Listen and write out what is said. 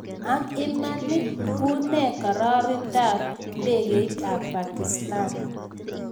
Ang Iman Ii unee kararindaak ndekeit ap pakistan